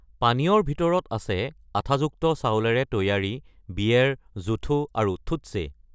পানীয়ৰ ভিতৰত আছে আঠাযুক্ত চাউলেৰে তৈয়াৰী বিয়েৰ জুথো আৰু থুট্চে।